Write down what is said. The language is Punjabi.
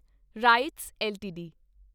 rights LTD